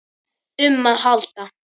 um að halda.